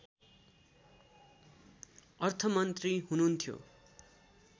अर्थमन्त्री हुनुहुन्थ्यो